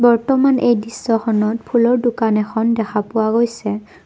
বৰ্তমান এই দৃশ্যখনত ফুলৰ দোকান এখন ফুলৰ দোকান এখন দেখা পোৱা গৈছে।